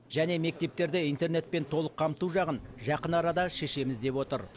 және мектептерде интернетпен толық қамту жағын жақын арада шешеміз деп отыр